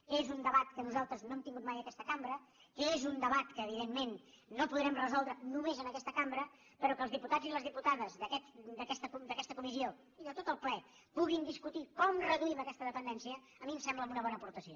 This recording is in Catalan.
que és un debat que nosaltres no hem tingut mai en aquesta cambra que és un debat que evidentment no podrem resoldre només en aquesta cambra però que els diputats i les diputades d’aquesta comissió i de tot el ple puguin discutir com reduïm aquesta dependència a mi em sembla una bona aportació